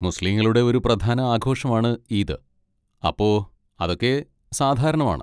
മുസ്ലിങ്ങളുടെ ഒരു പ്രധാന ആഘോഷം ആണ് ഈദ്, അപ്പോ അതൊക്കെ സാധാരണമാണ്.